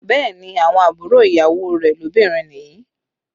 Bẹẹ ni, àwọn àbúrò ìyàwó rẹ̀ lóbìnrin nìyí